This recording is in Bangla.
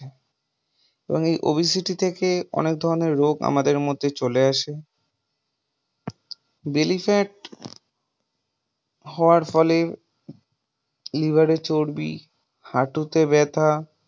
এবং এই obesity থেকে অনেক ধরনের রোগ আমাদের মধ্যে চলে আসে। belly fat হওয়ার ফলে liver চর্বি, হাঁটুতে ব্যাথা